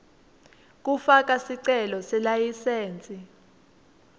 kufaka sicelo selayisensi